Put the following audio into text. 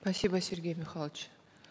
спасибо сергей михайлович